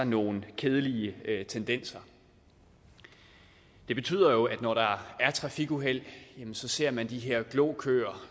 nogle kedelige tendenser det betyder at når der er trafikuheld så ser man de her glokøer